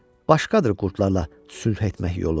Başqadır qurdlarla sülh etmək yolu.